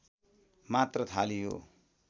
मात्र थालियो